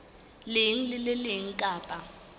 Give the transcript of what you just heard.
leng le le leng kapa